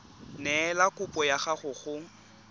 neela kopo ya gago go